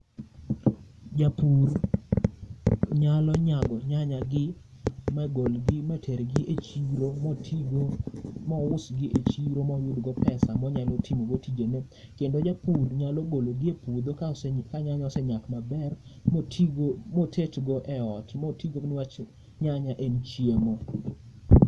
Japur nyalo nyago nyanya gi magolgi matergi e chiro, motigo mousgi e chiro moyudgo pesa monyalo timogo tijene. Kendo japur nyalo gologi e puodho ka nyanya osenyak maber, motigo motetgo e ot motigo niwach nyanya en chiemo.